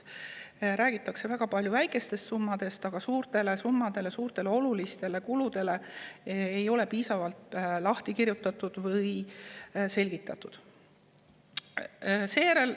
Räägitakse väga palju väikestest summadest, aga suuri summasid ja olulisi kulusid ei ole piisavalt lahti kirjutatud ega selgitatud.